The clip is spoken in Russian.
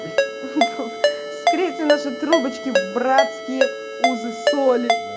скрипты наша трубочки братские узы соль